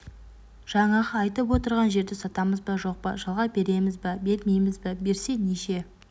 жаңағы айтып отырған жерді сатамыз ба жоқ па жалға береміз ба бермейміз ба берсе неше